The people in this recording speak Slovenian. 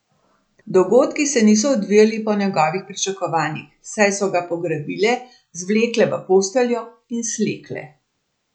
Dogodki se niso odvijali po njegovih pričakovanjih, saj so ga pograbile, zvlekle v posteljo in slekle.